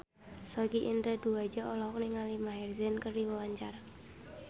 Sogi Indra Duaja olohok ningali Maher Zein keur diwawancara